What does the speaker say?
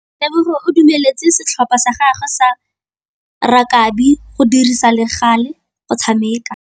Tebogô o dumeletse setlhopha sa gagwe sa rakabi go dirisa le galê go tshameka.